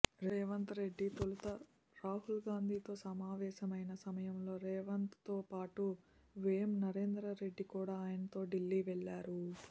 రేవంత్రెడ్డి తొలుత రాహుల్గాంధీతో సమావేశమైన సమయంలో రేవంత్తో పాటు వేం నరేందర్రెడ్డి కూడ ఆయనతో ఢిల్లీ వెళ్ళారు